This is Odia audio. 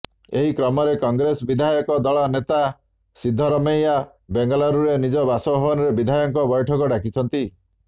ଏହି କ୍ରମରେ କଂଗ୍ରେସ ବିଧାୟକ ଦଳ ନେତା ସିଦ୍ଧରମେୟା ବେଙ୍ଗାଲୁରୁରେ ନିଜ ବାସଭବନରେ ବିଧାୟକଙ୍କ ବୈଠକ ଡାକିଛନ୍ତି